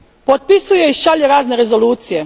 Potpisuje i šalje razne rezolucije.